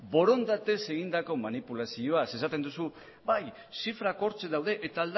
borondatez egindako manipulazioa ze esaten duzu bai zifrak hortxe daude eta